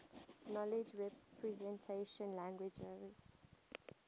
knowledge representation languages